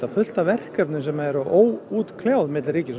fullt af verkefnum sem eru enn óútkljáð á milli ríkis og